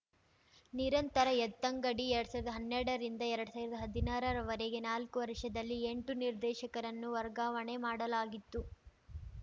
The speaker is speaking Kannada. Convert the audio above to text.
ನಿರಂತರ ಎತ್ತಂಗಡಿ ಎರಡ್ ಸಾವಿರ್ದಾ ಹನ್ನೆರಡರಿಂದ ಎರಡ್ ಸಾವಿ ಹದಿನಾರರ ವರೆಗಿನ ನಾಲ್ಕು ವರ್ಷದಲ್ಲಿ ಎಂಟು ನಿರ್ದೇಶಕರನ್ನು ವರ್ಗಾವಣೆ ಮಾಡಲಾಗಿತ್ತು